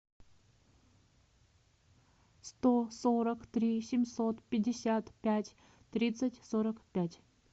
сто сорок три семьсот пятьдесят пять тридцать сорок пять